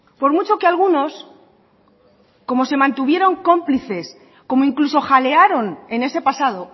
por mucho que algunos como se mantuvieron cómplices como incluso jalearon en ese pasado